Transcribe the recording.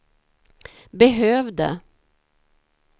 behövde